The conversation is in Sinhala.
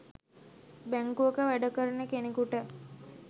බැංකුවක වැඩ කරන කෙනෙකුට